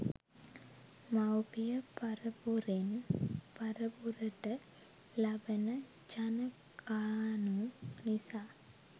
මවුපිය පරපුරෙන් පරපුරට ලබන ජනකානු නිසා